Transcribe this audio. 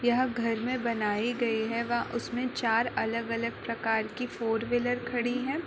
यह घर मे बनाई गई है वह उसमें चार अलग अलग प्रकार कि फोर विलर खड़ी है।